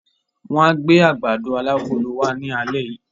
Wọ́n á gbé àgbàdo alágolo wá ní alẹ́ yìí.